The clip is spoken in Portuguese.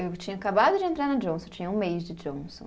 Eu tinha acabado de entrar na Johnson, tinha um mês de Johnson.